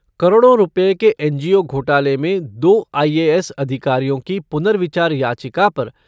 करोड़ों रूपये के एनजीओ घोटाले में दो आईएएस अधिकारियों की पुनर्विचार याचिका पर